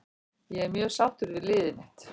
Ég er mjög sáttur við liðið mitt.